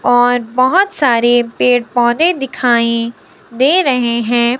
और बहोत सारे पेड़ पौधे दिखाई दे रहे हैं।